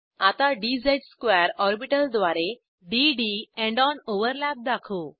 आता dz2 orbital द्वारे d D end on overlap दाखवू